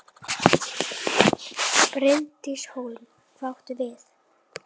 Bryndís Hólm: Hvað áttu við?